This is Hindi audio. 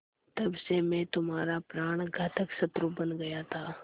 तब से मैं तुम्हारा प्राणघातक शत्रु बन गया था